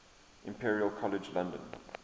imperial college london